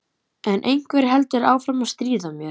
En einhver heldur áfram að stríða mér